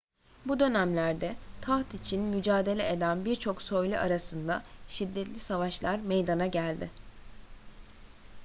bu dönemlerde taht için mücadele eden birçok soylu arasında şiddetli savaşlar meydana geldi